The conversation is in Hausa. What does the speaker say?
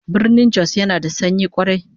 Birnin Jos yana da sanyi kwarai